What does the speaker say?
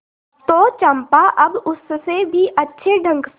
तो चंपा अब उससे भी अच्छे ढंग से